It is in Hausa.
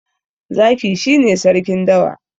Zaki shi ne sarkin dawa.